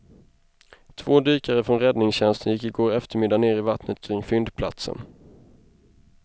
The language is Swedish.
Två dykare från räddningstjänsten gick i går eftermiddag ner i vattnet kring fyndplatsen.